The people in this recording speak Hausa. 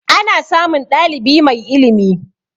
Ana samun ɗalibi mai ilimi